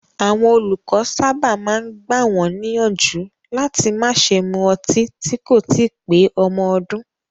Àwọn olùkọ́ sábà máa ń gbà wọ́n níyànjú láti má ṣe mu ọtí tí kò tíì pé ọmọ ọdún.